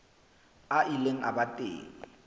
a ile a ba teng